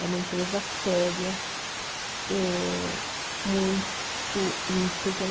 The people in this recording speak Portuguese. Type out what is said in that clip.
É uma empresa séria, é muito íntegra,